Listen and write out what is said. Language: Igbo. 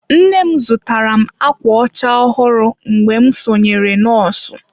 Nne m zụtara m ákwà ọcha ọhụrụ mgbe m sonyere nọọsụ.